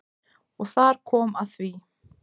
Og þar kom að því.